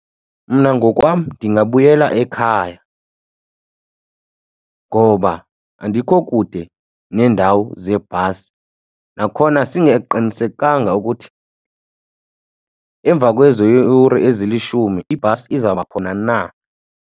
Mna ngokwam ndingabuyela ekhaya ngoba andikho kude neendawo zeebhasi. Nakhona singaqinisekanga ukuthi emva kwezo yure ezilishumi ibhasi izawuba khona na.